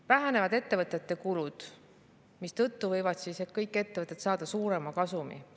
Vähenevad ettevõtete kulud, mistõttu võivad kõik ettevõtted saada suurema kasumi.